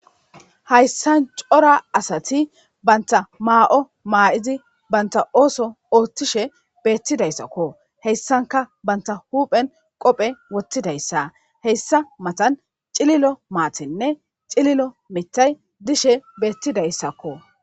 Hayssan cora asati bantta maa7o maayidi ba oosuwa ooththishe beetidaysako hayssanka bantta huphen qoope wothidaysako hessa matan cililo mithinne cililo maatay dizaysako